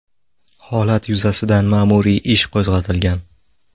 Holat yuzasidan ma’muriy ish qo‘zg‘atilgan.